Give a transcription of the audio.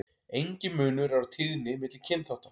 Enginn munur er á tíðni milli kynþátta.